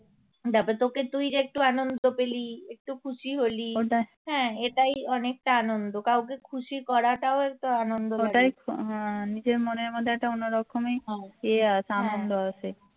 তারপর তোকে তুই যে একটু আনন্দ পেলি একটু খুশি হলি হ্যা এটাই অনেকটা আনন্দ কাউকে খুশি করাটাও একটা আনন্দ হ্যা